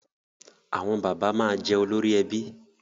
Àwọn bàbá máa jẹ olórí ẹbí